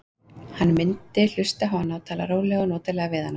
Hann mundi hlusta á hana og tala rólega og notalega við hana.